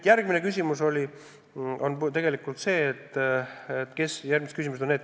Aga nüüd järgmised küsimused.